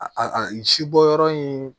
A si bɔyɔrɔ in